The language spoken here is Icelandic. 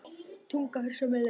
Tungan fer sömu leið.